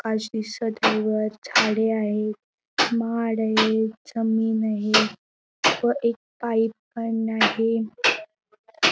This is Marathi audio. आकाश दिसत आहे वर झाडी आहे माड आहे जमीन आहे व एक पाइप पण आहे.